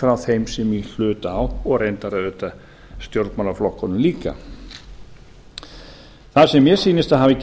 frá þeim sem í hlut eiga og auðvitað stjórnmálaflokkunum líka það sem mér sýnist að hafi